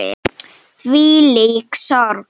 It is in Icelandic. Þvílík sorg.